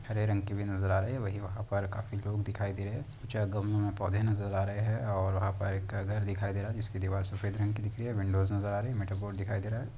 हरे रंग की भी नजर आ रहे है वही वहाँ पर काफी लोग दिखाई दे रहे हैं कुछ गमलों में पौधे नजर आ रहे हैं और वहाँ पर एक का घर दिखाई दे रहा है जिसकी दीवार सफ़ेद रंग की दिख रही है विंडोज नजर आ रही है मीटर बोर्ड दिखाई दे रहा हैं।